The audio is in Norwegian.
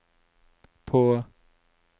på